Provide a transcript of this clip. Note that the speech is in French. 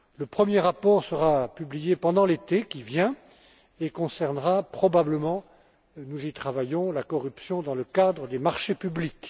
Le premier rapport sera publié pendant l'été qui vient et concernera probablement nous y travaillons la corruption dans le cadre des marchés publics.